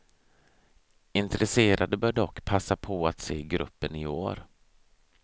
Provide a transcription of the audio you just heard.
Intresserade bör dock passa på att se gruppen i år.